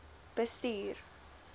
bestuur